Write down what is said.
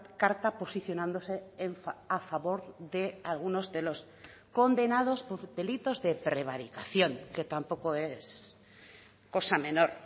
carta posicionándose a favor de algunos de los condenados por delitos de prevaricación que tampoco es cosa menor